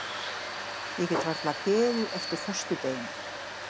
Ég get varla beðið eftir föstudeginum.